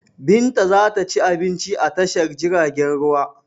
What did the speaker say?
Binta za ta ci abinci a tashar jiragen ruwa.